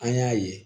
An y'a ye